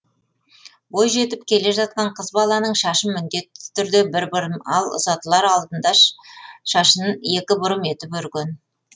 бойжетіп келе жатқан қыз баланың шашын міндетті түрде бір бұрым ал ұзатылар алдында шашын екі бұрым етіп өрген